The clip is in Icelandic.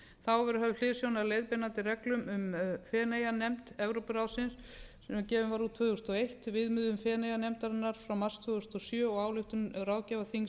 þá hafði verið höfð hliðsjón af leiðbeinandi reglum um feneyjanefnd evrópuráðsins sem gefin var út tvö þúsund og eitt viðmiðun feneyjanefndarinnar frá mars tvö þúsund og sjö og ályktun ráðgjafarþings